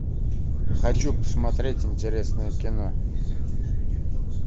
хочу посмотреть интересное кино